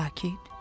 Sakit.